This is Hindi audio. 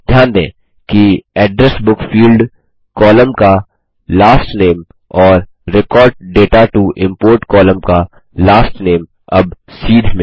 ध्यान दें कि एड्रेस बुक फील्ड्स कॉलम का लास्ट नामे और record data to import column का लास्ट नामे अब सीध में है